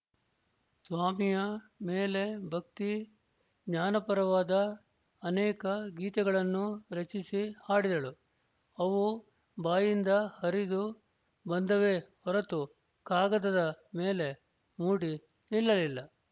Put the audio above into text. ಸ್ವಾಮಿಯ ಮೇಲೆ ಭಕ್ತಿ ಜ್ಞಾನಪರವಾದ ಅನೇಕ ಗೀತೆಗಳನ್ನು ರಚಿಸಿ ಹಾಡಿದಳು ಅವು ಬಾಯಿಂದ ಹರಿದು ಬಂದವೇ ಹೊರತು ಕಾಗದದ ಮೇಲೆ ಮೂಡಿ ನಿಲ್ಲಲಿಲ್ಲ